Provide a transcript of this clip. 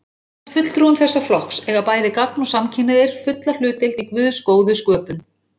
Samkvæmt fulltrúum þessa flokks eiga bæði gagn- og samkynhneigðir fulla hlutdeild í Guðs góðu sköpun.